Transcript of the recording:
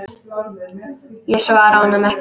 Ég svara honum ekki.